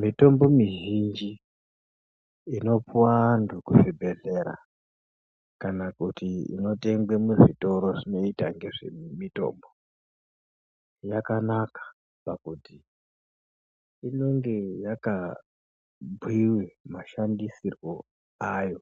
Mitombo mizhinji inopuwa antu kuzvibhedhlera kana kuti inotengwe muzvitoro zvinoyita ngezvemitombo, yakanaka pakuti inonge yakabhuyiwe mashandisirwo ayo